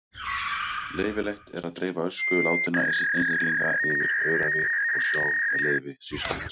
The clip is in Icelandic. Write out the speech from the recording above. Leyfilegt er að dreifa ösku látinna einstaklinga yfir öræfi og sjó með leyfi sýslumanns.